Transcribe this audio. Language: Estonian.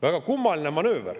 Väga kummaline manööver.